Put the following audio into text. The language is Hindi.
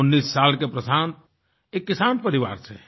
19 साल के प्रशांत एक किसान परिवार से हैं